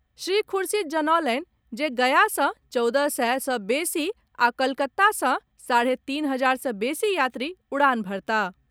श्री खुर्शीद जनौलनि जे गया सॅ चौदह सय सॅ बेसी आ कोलकाता सॅ साढ़े तीन हजार सॅ बेसी यात्री उड़ान भरताह।